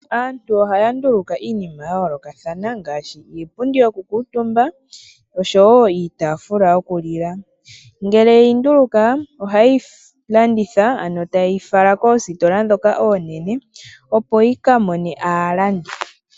Aantu ohaya nduluka iinima ya yoolokathana ngaashi iipundi yokukuutumba niitaafula yokulila. Ngele ye yi nduluka ohaye yi landitha, ano taye yi fala koositola ndhoka oonene, opo yi ka mone aalandi.